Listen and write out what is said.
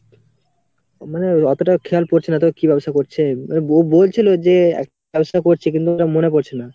মানে অতটা খেয়াল পড়ছে না তো কি ব্যবসা করছে, ও বো~ বলছিলো যে ব্যবসা করছে কিন্তু ওটা মনে পড়ছে না.